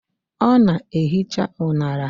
Ọ na-ehicha unara.